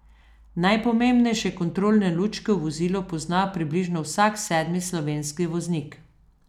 Najpomembnejše kontrolne lučke v vozilu pozna približno vsak sedmi slovenski voznik.